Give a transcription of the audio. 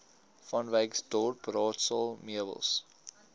vanwyksdorp raadsaal meubels